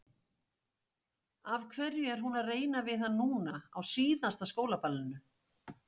Af hverju er hún að reyna við hann núna, á síðasta skólaballinu?